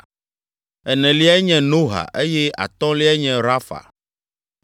eneliae nye Noha eye atɔ̃liae nye Rafa.